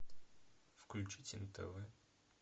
включить нтв